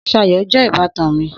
Sayo jé ìbátan mi